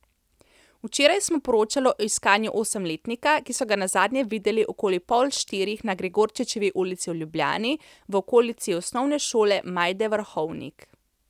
Včeraj smo poročali o iskanju osemletnika, ki so ga nazadnje videli okoli pol štirih na Gregorčičevi ulici v Ljubljani, v okolici Osnovne šole Majde Vrhovnik.